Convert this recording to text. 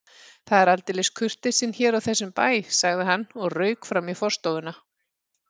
Það er aldeilis kurteisin hér á þessum bæ sagði hann og rauk fram í forstofuna.